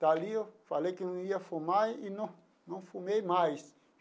Dali eu falei que não ia fumar e não não fumei mais.